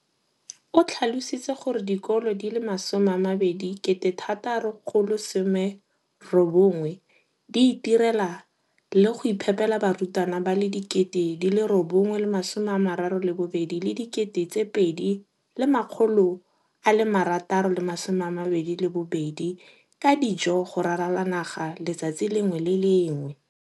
O tlhalositse gore dikolo di le 20 619 di itirela le go iphepela barutwana ba le 9 032 622 ka dijo go ralala naga letsatsi le lengwe le le lengwe.